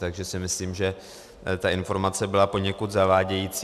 Takže si myslím, že ta informace byla poněkud zavádějící.